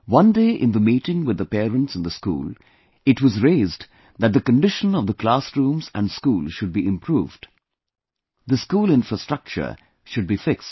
One day in the meeting with the parents in the school, it was raised that the condition of the classrooms and school should be improved; the school infrastructure should be fixed